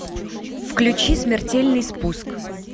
включи смертельный спуск